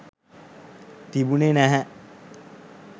තිබුණෙ නැහැ.